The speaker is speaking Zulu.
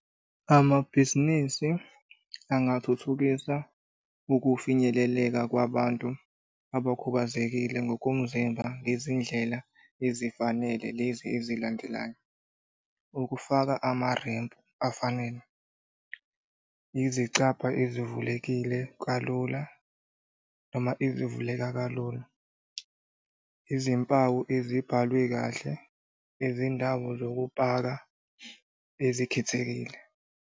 Amabhizinisi angathuthukisa ukufinyeleleka kwabantu abakhubazekile ngokomzimba ngezindlela ezifanele lezi ezilandelayo. Ukufaka amarempu afanele, izicabha ezivulekile kalula noma ezivuleka kalula. Izimpawu ezibhalwe kahle, izindawo zokupaka ezikhethekile.